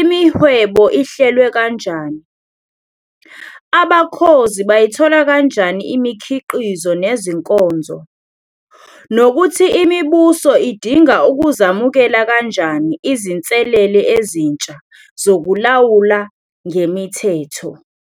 imihwebo ihlelwe kanjani, abakhozi bayithola kanjani imikhiqizo nezinkonzo, nokuthi imibuso idinga ukuzamukela kanjani izinselele ezintsha zokulawula ngemithetho.